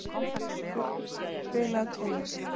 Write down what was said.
Vöttur, spilaðu tónlist.